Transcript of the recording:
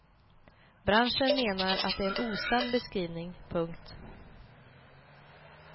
Branschen menar att det är en osann beskrivning. punkt